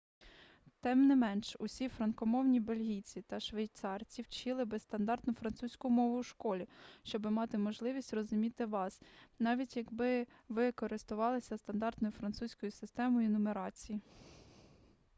тим не менш усі франкомовні бельгійці та швейцарці вчили би стандартну французьку мову у школі щоби мати можливість розуміти вас навіть якби ви користувалися стандартною французькою системою нумерації